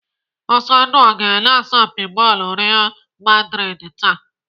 Ọsọndụ ọ ga-ele asọmpi bọọlụ Real maldrid taa?.